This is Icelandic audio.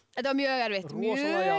þetta var mjög erfitt mjög